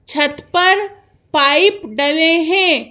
छत पर पाइप डले हैं।